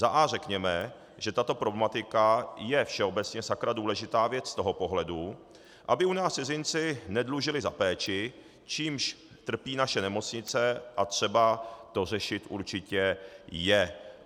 Za a) řekněme, že tato problematika je všeobecně sakra důležitá věc z toho pohledu, aby u nás cizinci nedlužili za péči, čímž trpí naše nemocnice, a třeba to řešit určitě je.